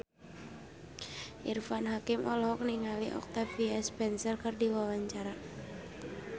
Irfan Hakim olohok ningali Octavia Spencer keur diwawancara